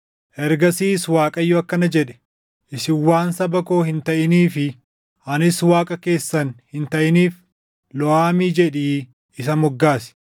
Ergasiis Waaqayyo akkana jedhe; “Isin waan saba koo hin taʼinii fi anis Waaqa keessan hin taʼiniif Loo-Amii jedhii isa moggaasi.